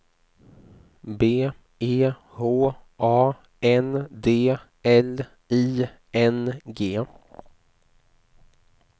B E H A N D L I N G